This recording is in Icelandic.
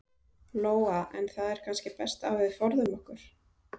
Lóa: En það er kannski best að við forðum okkur?